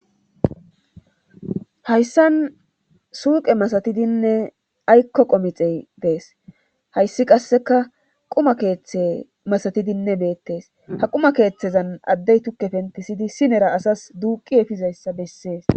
Hayssan suuqe masatidinne aykko qomixe dees hayssi qasseka quma keeththe masatidinne beettes ha quma keeththezan addey tukke pentisidi sinera asas duuqi efizayssa bessees.